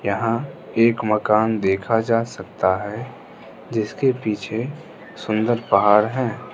यहां एक मकान देखा जा सकता है जिसके पीछे सुंदर पहाड़ हैं।